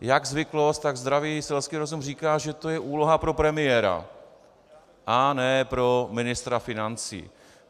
jak zvyklost, tak zdravý selsky rozum říká, že to je úloha pro premiéra a ne pro ministra financí.